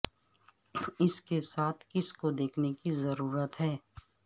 اس کے ساتھ کسی کو دیکھنے کی ضرورت ہے